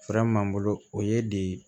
m'an bolo o ye de